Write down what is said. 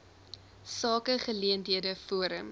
sake geleenthede forum